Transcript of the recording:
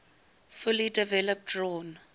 fully developed drawn